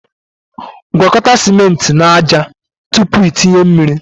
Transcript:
gwakọta ciment na ájá tupu i tinye mmiri